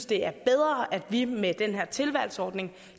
det er bedre at vi med den her tilvalgsordning